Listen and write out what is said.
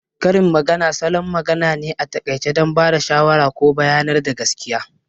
Karin magana salon magana ne a taƙaice don ba da shawara ko bayanar da gaskiya